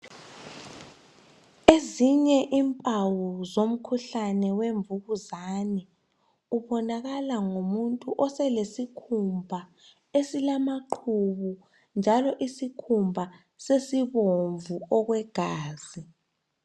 Ezinye impawu zomkhuhlane wemvukuzane ubonakala ngomuntu oselesikhumba esilamaqhubu njalo isikhumba sesibomvu okwegazi